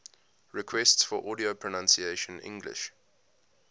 requests for audio pronunciation english